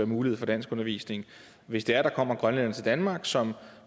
mulighed for danskundervisning og hvis der kommer grønlændere til danmark som